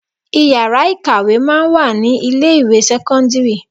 Ìyàrá ìkàwé máa ń wà ní ilé ìwé sẹ́kọ́ńdírì.